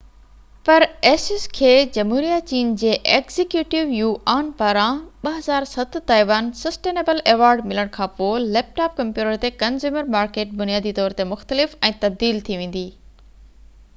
پر asus کي جمهوريه چين جي ايگزيڪيوٽو يوآن پاران 2007 تائيوان سسٽين ايبل ايوارڊ ملڻ کان پوءِ ليپ ٽاپ ڪمپيوٽر تي ڪنزيومر مارڪيٽ بنيادي طور تي مختلف ۽ تبديل ٿي ويندي